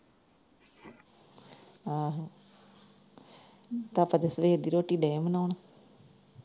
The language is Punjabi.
ਅਹ ਪਾਪਾ ਤਾਂ ਸਵੇਰ ਦੀ ਰੋਟੀ ਡੇ ਆ ਬਨਾਉਣ।